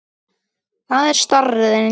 Það er staðreynd